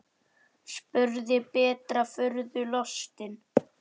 spurði Berta furðu lostin.